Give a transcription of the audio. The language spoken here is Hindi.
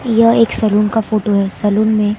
यह एक सैलून का फोटो है। सलून में--